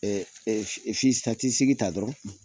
Ɛɛ t sigi ta dɔrɔn